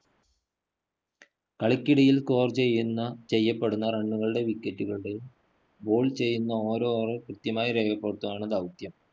കളിക്കിടയില്‍ score ചെയ്യുന്ന ചെയ്യപ്പെടുന്ന, run കളുടെയും wicket കളുടെയും, ball ചെയ്യുന്ന ഓരോ over ഉം കൃത്യമായി രേഖപ്പെടുത്തുകയാണ് ദൗത്യം.